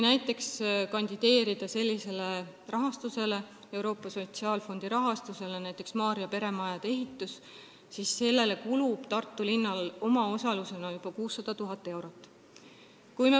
Taotledes Euroopa Sotsiaalfondi rahastust, tuleb arvestada, et näiteks Maarja peremajade ehitusele kulub Tartu linnal omaosalusena juba 600 000 eurot.